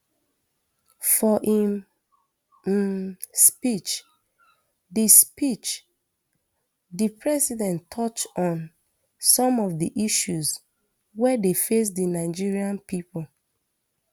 for im um speech di speech di president touch on some of di issues wey dey face di nigerian pipo